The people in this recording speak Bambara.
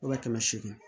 Wa kɛmɛ seegin